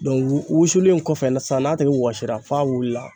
wusulen kɔfɛ sisan n'a tigi wɔsira f'a wulila